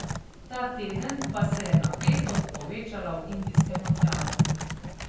Ta teden pa se je napetost povečala v Indijskem oceanu.